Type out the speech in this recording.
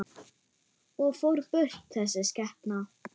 Og fór burt, þessi skepna.